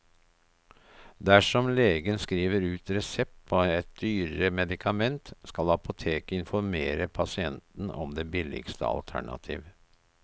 Dersom legen skriver ut resept på et dyrere medikament, skal apoteket informere pasienten om det billigste alternativ.